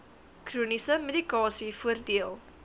chroniese medikasie voordeel